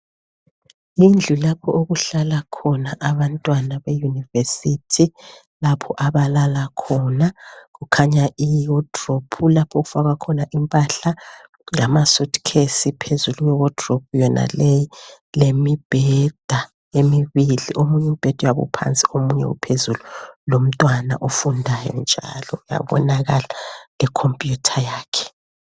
Yindlu lapho okuhlala khona abantwana be university lapho abalala khona kukhanya I wardrobe lapho okufakwa khona impahla lama suitcase phezulu kwe wardrobe yonaleyi leminye imibheda emibili omunye umbheda uyabe uphansi omunye uphezulu lomntwana ofundayo njalo kuyabonakala I computer yakhe.